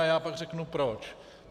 A já pak řeknu proč.